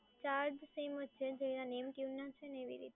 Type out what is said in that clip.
charge same જ છે, જેવા name tune ના છે ને એવી રીતે